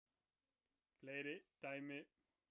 Fleiri dæmi